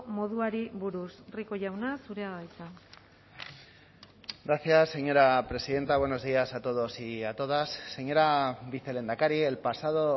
moduari buruz rico jauna zurea da hitza gracias señora presidenta buenos días a todos y a todas señora vicelehendakari el pasado